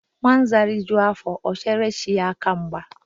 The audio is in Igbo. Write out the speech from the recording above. Nwa Nza rijuo afọ, o chere chi aka mgba